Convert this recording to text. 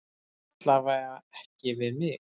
Alla vega ekki við mig.